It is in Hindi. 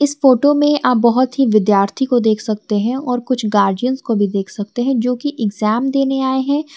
इस फोटो में आप बहुत ही विद्यार्थी को देख सकते हैं और कुछ गार्जियन को भी देख सकते हैं जो की एग्जाम देने आए हैं।